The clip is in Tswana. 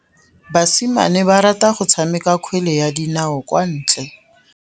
Basimane ba rata go tshameka kgwele ya dinaô kwa ntle.